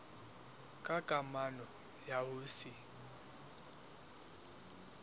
ka kamano ya ho se